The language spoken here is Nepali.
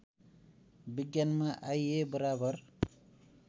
विज्ञानमा आइए बराबर